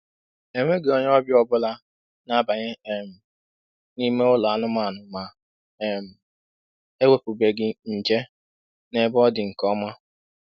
Enweghị onye ọbịa ọ bụla na-abanye um n'ime ụlọ anụmanụ ma um ewepụbeghị nje n'ebe ọ dị nke ọma.